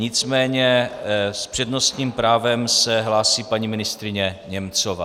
Nicméně s přednostním právem se hlásí paní ministryně Němcová.